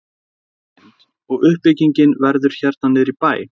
Inga Lind: Og uppbyggingin verður hérna niður í bæ?